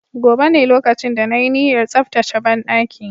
Gobe ​​ne lokacin da na yi niyyar tsaftace banɗaki